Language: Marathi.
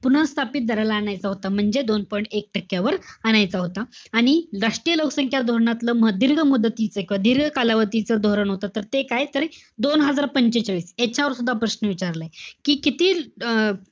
पुनःस्थापित दराला आणायचा होता. म्हणजे दोन point एक टक्क्यावर आणायचा होता. आणि राष्ट्रीय लोकसंख्या धोरणातलं म~ दीर्घ मदतीचं~ दीर्घ कालावधीच धोरण होतं, तर ते काय? तर दोन हजार पंचेचाळीस, याच्यावर सुद्धा प्रश्न विचारलाय. कि किती अं